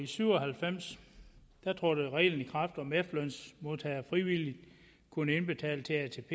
syv og halvfems trådte reglen i kraft om at efterlønsmodtagere frivilligt kunne indbetale til atp